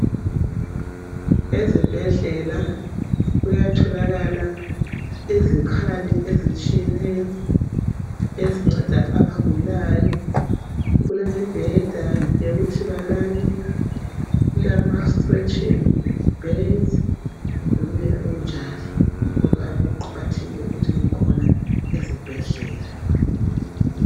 Ezibhedlela kuyatholakala izikhali ezitshiyeneyo ezinceda abagulayo. Kulemibheda yokuthi balale kulamastretching beds lokunye okunjalo kuqakathekile ukuthi kubekhona ezibhedlela.